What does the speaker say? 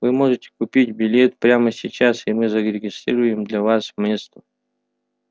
вы можете купить билет прямо сейчас и мы зарегистрируем для вас место